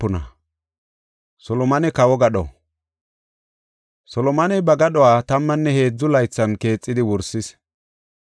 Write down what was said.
Solomoney ba gadhuwa tammanne heedzu laythan keexidi wursis.